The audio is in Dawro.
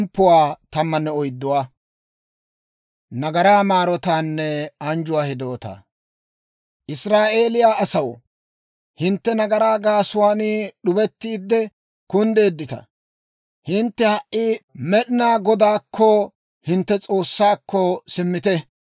Israa'eeliyaa asaw, hintte nagaraa gaasuwaan d'ubettiide kunddeeddita. Hintte ha"i Med'inaa Godaakko, hintte S'oossaakko simmite.